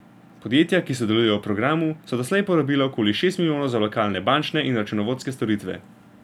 Podjetja, ki sodelujejo v programu, so doslej porabila okoli šest milijonov za lokalne bančne in računovodske storitve.